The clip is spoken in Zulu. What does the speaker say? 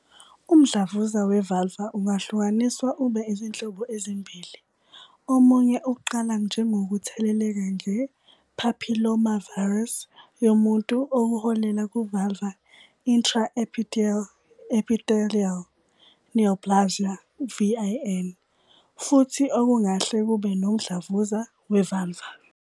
Umdlavuza we-Vulvar ungahlukaniswa ube izinhlobo ezimbili. Omunye uqala njengokutheleleka nge-papillomavirus yomuntu, okuholela ku-vulvar intraepithelial neoplasia, VIN, futhi okungahle kube nomdlavuza we-vulvar.